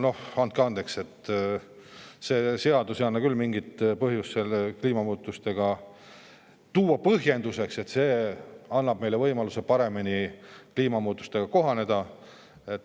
Noh, andke andeks, selle eelnõu puhul ei anna küll tuua mingit põhjendust, et see annab meile võimaluse paremini kliimamuutustega kohaneda.